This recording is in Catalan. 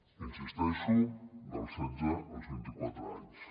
hi insisteixo dels setze als vint i quatre anys